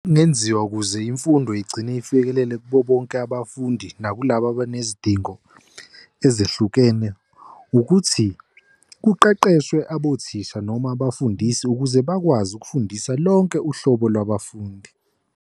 Okungenziwa ukuze imfundo igcine ifikelele kubo bonke abafundi nakulabo abanezidingo ezehlukene ukuthi kuqeqeshwe abothisha noma abafundisi ukuze bakwazi ukufundisa lonke uhlobo lwabafundi.